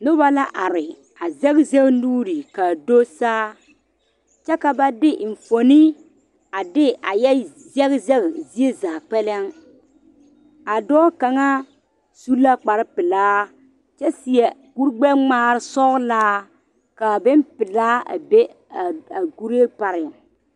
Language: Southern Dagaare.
Noba la are a sege sege nuure kaa do saa kyɛ ka ba de enfuoni a de a yɛ seg seg zie zaa kpɛlem a dɔɔ kaŋa su la kpar pelaa kyɛ seɛ kuri gbɛŋmaare sɔgelaa kaa bompelaa a be a kuree pareŋ